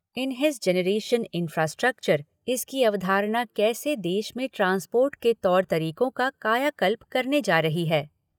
इन हिज़ generation infrastructure इसकी अवधारणा देश में ट्रांसपोर्ट के तौर तरीकों की कायाकल्प करने जा रही है।